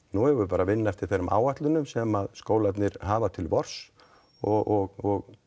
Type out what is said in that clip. nú eigum við bara að vinna eftir þeim áætlunum sem skólarnir hafa til vors og